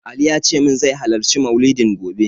Ali yace min zai halarci maulidin gobe.